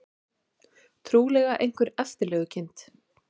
Trúlega einhver eftirlegukind.